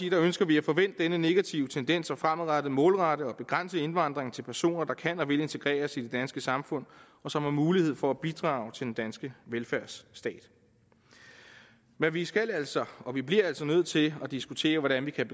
ønsker vi at få vendt denne negative tendens og fremadrettet målrette og begrænse indvandringen til personer der kan og vil integreres i det danske samfund og som har mulighed for at bidrage til den danske velfærdsstat men vi skal altså begrænse og vi bliver nødt til at diskutere hvordan vi kan